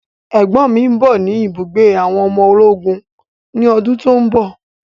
Ẹ̀gbọ́n mi ń bọ̀ ni ibùgbé àwọn ọmọ ológun ni ọdún tòun bọ̀.